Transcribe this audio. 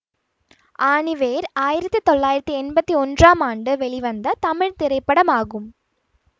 ஆணிவேர் ஆயிரத்தி தொள்ளாயிரத்தி எம்பத்தி ஒன்றாம் ஆண்டு வெளிவந்த தமிழ் திரைப்படமாகும் கே